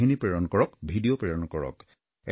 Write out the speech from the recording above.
কাহিনী প্ৰেৰণ কৰক ভিডিঅ প্ৰেৰণ কৰক